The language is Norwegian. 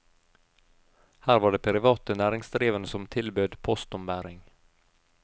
Her var det private næringsdrivende som tilbød postombæring.